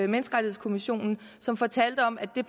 menneskerettighedskommissionen som fortalte om at det